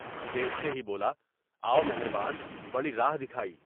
دیکھتے ہی بولا "اُو مہریان، بڑی راہ دکھائی۔"